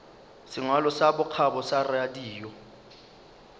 sengwalo sa bokgabo sa radio